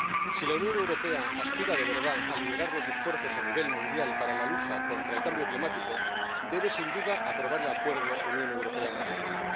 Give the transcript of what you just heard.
Si la Unión Europea aspira de verdad a liderar los esfuerzos a nivel mundial para la lucha contra el cambio climático, debe sin duda aprobar el acuerdo Unión Europea Mercosur.